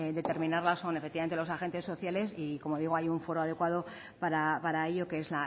determinarlas son efectivamente los agentes sociales y como digo hay un foro adecuado para ello que es